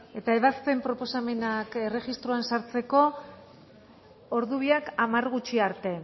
eta ebazpen proposamenak erregistroan sartzeko ordu biak hamar gutxi arte